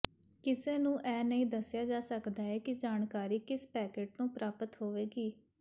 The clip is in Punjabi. ਕਿਸੇ ਨੂੰ ਇਹ ਨਹੀਂ ਦੱਸਿਆ ਜਾ ਸਕਦਾ ਹੈ ਕਿ ਜਾਣਕਾਰੀ ਕਿਸ ਪੈਕੇਟ ਤੋਂ ਪ੍ਰਾਪਤ ਹੋਵੇਗੀ